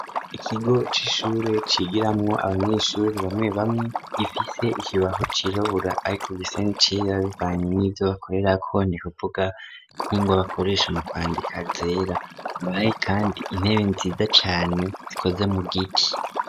Ikigo c'ishure cigiramwo abanyeshure bamwe bamwe, gifise ikibaho cirabura ariko gisa n'icera bivanye n'ivyo bakorerako n'ukuvuga nk'ingwa bakoresha mu kwandika zera, haba hari kandi intebe nziza cane zikoze mu giti.